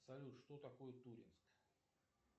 салют что такое туринск